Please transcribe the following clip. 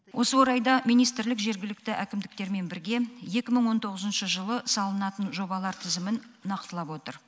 осы орайда министрлік жергілікті әкімдіктермен бірге екі мың он тоғызыншы жылы салынатын жобалар тізімін нақтылап отыр